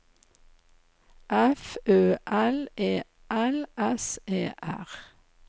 F Ø L E L S E R